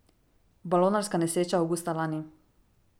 Balonarska nesreča avgusta lani.